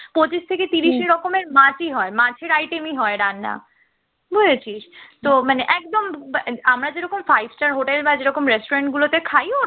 পঁচিশ থেকে ত্রিশ রকমের মাছি হয় মাছের item ই হয় রান্না বুঝেছিস তো মানে একদম আমরা যেরকম five star hotel বা যেরকম restaurant গুলোতে খাই